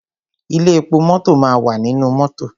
Ilé epo mọ́tọ̀ máa wà nínú mọ́tọ̀.